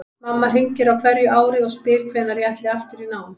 Mamma hringir á hverju ári og spyr hvenær ég ætli aftur í nám.